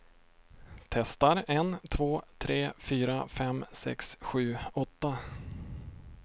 Testar en två tre fyra fem sex sju åtta.